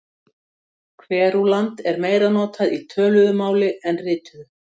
Kverúlant er meira notað í töluðu máli en rituðu.